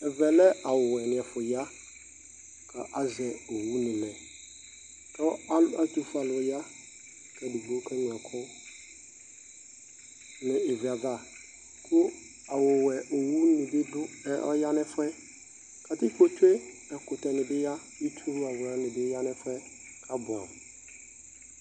ɛvɛ lɛ awʊwẽniɛfu ya ka asɛ owunilɛ Kɔ atufuéalu ya kédigbo kéŋlõɛku nu ivliava ku awówɛ owu nibi du ɛ õya nɛfuɛ katikpo tsué ɛkutɛnibiya itsu wlawla nibi ya nɛfuɛ kabuamu